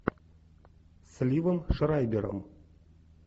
с ливом шрайбером